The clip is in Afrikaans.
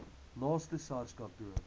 naaste sars kantoor